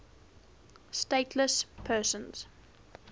stateless persons